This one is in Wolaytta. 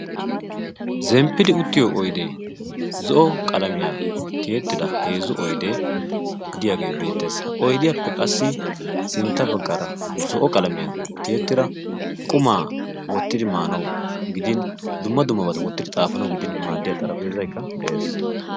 zemppidi uttiyo oydee zo'o qalamiyaa tiyettida heezzu oydee diyaagee beettees. ha oydiyaappe qassi sintta baggaara zo'o qalamiyaa tiyettida qumaa wottidi maanawu gidin dumma dummabata wottidi xaafanawu gidin maaddiyaa xaraphpheezaykka de'ees.